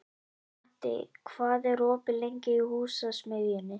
Patti, hvað er opið lengi í Húsasmiðjunni?